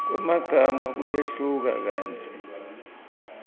kwemagama kuyehluka kantsi